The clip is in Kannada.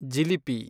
ಜಿಲಿಪಿ